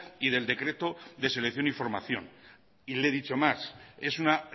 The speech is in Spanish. y del decreto de selección y formación y le he dicho más es una